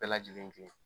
Bɛɛ lajɛlen kɛ